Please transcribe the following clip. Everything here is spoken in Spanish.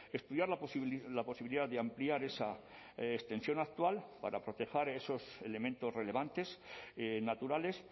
estudiar la posibilidad de ampliar esa extensión actual para proteger esos elementos relevantes naturales